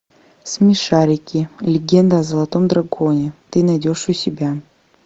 смешарики легенда о золотом драконе ты найдешь у себя